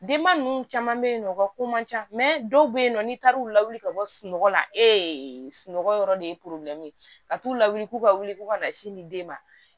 Denba ninnu caman bɛ yen nɔ u ka ko man ca dɔw bɛ yen nɔ n'i taar'u lawuli ka bɔ sunɔgɔ la e ye sunɔgɔ yɔrɔ de ye ka t'u lawuli k'u ka wuli ko ka na sin di den ma